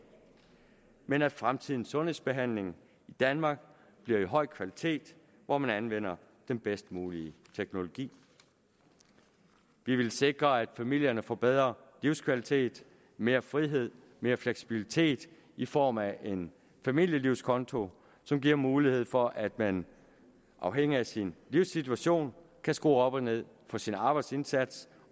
men at fremtidens sundhedsbehandling i danmark bliver af høj kvalitet hvor man anvender den bedst mulige teknologi vi ville sikre at familierne får bedre livskvalitet mere frihed mere fleksibilitet i form af en familielivskonto som giver mulighed for at man afhængig af sin livssituation kan skrue op og ned for sin arbejdsindsats